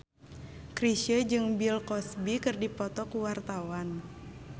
Chrisye jeung Bill Cosby keur dipoto ku wartawan